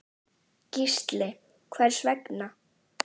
Gísli: Hvers vegna?